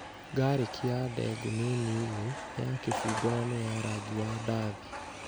Ngarĩki ya ndengũ nĩ nini, nĩ ya kĩbungo na nĩ ya rangi wa ndathi